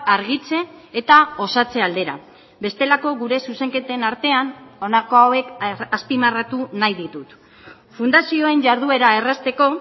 argitze eta osatze aldera bestelako gure zuzenketen artean honako hauek azpimarratu nahi ditut fundazioen jarduera errazteko